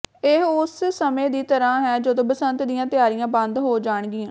ਇਹ ਉਸ ਸਮੇਂ ਦੀ ਤਰ੍ਹਾਂ ਹੈ ਜਦੋਂ ਬਸੰਤ ਦੀਆਂ ਤਿਆਰੀਆਂ ਬੰਦ ਹੋ ਜਾਣਗੀਆਂ